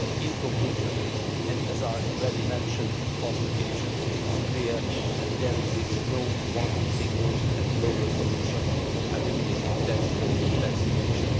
In conclusion, and as I have already mentioned on past occasions, it is clear that there exists no one single and global solution for eliminating tax fraud and tax evasion.